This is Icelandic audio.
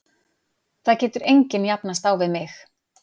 Það getur enginn jafnast á við mig.